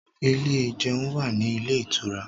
Ilé ìjẹun wà ní ilé ìtura